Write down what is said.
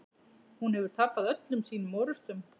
Hún hefur tapað öllum sínum orrustum.